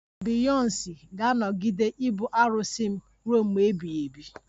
Beyonsi ga-anọgide ibu arụsị m ruo mgbe ebighị ebi